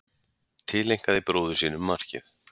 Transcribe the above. Tileinkaði bróður sínum markið